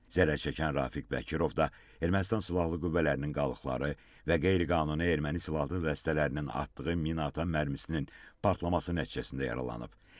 Zərər çəkən Rafiq Bəkirov da Ermənistan silahlı qüvvələrinin qalıqları və qeyri-qanuni erməni silahlı dəstələrinin atdığı minaatan mərmisinin partlaması nəticəsində yaralanıb.